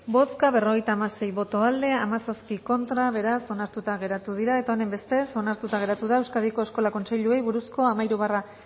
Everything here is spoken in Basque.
bozka berrogeita hamasei boto aldekoa diecisiete contra beraz onartuta geratu dira eta honenbestez onartuta geratu da euskadiko eskola kontseiluei buruzko hamairu barra